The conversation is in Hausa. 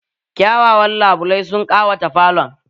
Kyawawan labulai sun ƙawata falon